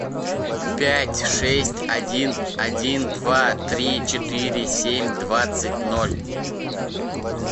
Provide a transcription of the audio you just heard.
пять шесть один один два три четыре семь двадцать ноль